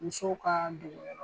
Musow ka